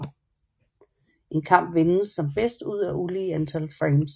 En kamp vindes som bedst ud af et ulige antal frames